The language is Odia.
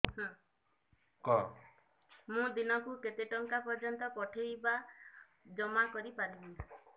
ମୁ ଦିନକୁ କେତେ ଟଙ୍କା ପର୍ଯ୍ୟନ୍ତ ପଠେଇ ବା ଜମା କରି ପାରିବି